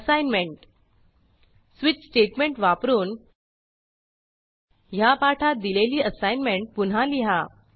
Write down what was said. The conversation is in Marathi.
असाईनमेंट स्वीच स्टेटमेंट वापरून ह्या पाठात दिलेली असाईनमेंट पुन्हा लिहा